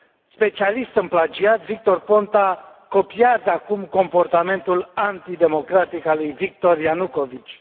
Specialist în plagiat, Victor Ponta copiază acum comportamentul antidemocratic al lui Viktor Ianukovici.